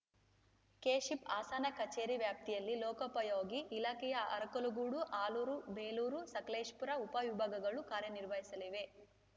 KSHIP Hassan ಕಚೇರಿ ವ್ಯಾಪ್ತಿಯಲ್ಲಿ ಲೋಕೋಪಯೋಗಿ ಇಲಾಖೆಯ ಅರಕಲಗೂಡು ಆಲೂರು ಬೇಲೂರು ಸಕಲೇಶಪುರ ಉಪ ವಿಭಾಗಗಳು ಕಾರ್ಯನಿರ್ವಹಿಸಲಿವೆ